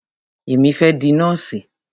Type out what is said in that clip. Èmi fẹ́ di nọ́ọ̀sì.